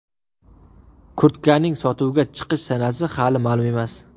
Kurtkaning sotuvga chiqish sanasi hali ma’lum emas.